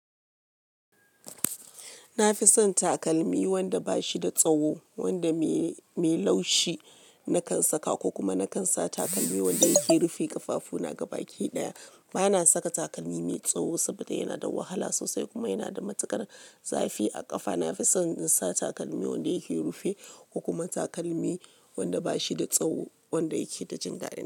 Na fi son takalmi wanda ba shi da tsawo, wanda mai, laushi na kan saka ko kuma na kan sa takalmi wanda yake rufe ƙafafu na gaba ki ɗaya. Ba na saka takalmi mai tsawo saboda yana da wahala sosai kuma yana da matukar zafi a ƙafa. Na fi son in sa takalmi wanda ya ke rufe ko kuma takalmi wanda ba shi da tsawo, wanda ya ke da jindadi.